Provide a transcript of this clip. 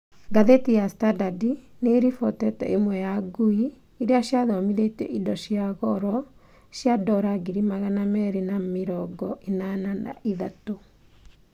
Ngathĩti ya Standard nĩĩribotete ĩmwe ya ngui irĩa ciathomithĩtio indo cia goro cia dora ngiri magana merĩ ma mĩrongo ĩnana na ithatũ